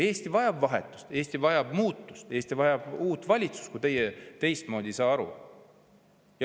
Eesti vajab vahetust, Eesti vajab muutust, Eesti vajab uut valitsust, kui teie teistmoodi ei saa aru.